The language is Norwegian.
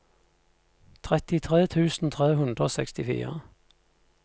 trettitre tusen tre hundre og sekstifire